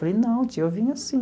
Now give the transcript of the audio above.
Falei, não tia, eu vim assim.